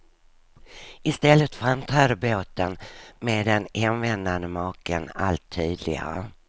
I stället framträder båten med den hemvändande maken allt tydligare.